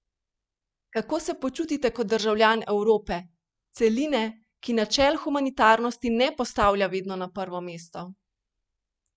Kako se počutite kot državljan Evrope, celine, ki načel humanitarnosti ne postavlja vedno na prvo mesto?